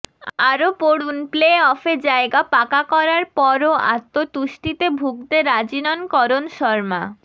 আরও পড়ুন প্লে অফে জায়গা পাকা করার পরও আত্মতুষ্টিতে ভূগতে রাজি নন করণ শর্মা